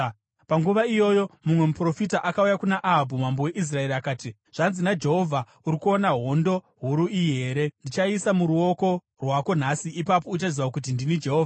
Panguva iyoyo mumwe muprofita akauya kuna Ahabhu mambo weIsraeri, akati, “Zvanzi naJehovha: ‘Uri kuona hondo huru huru iyi here? Ndichaiisa muruoko rwako nhasi, ipapo uchaziva kuti ndini Jehovha.’ ”